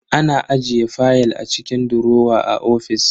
Ana ajiye fayal a cikin durowa a ofis.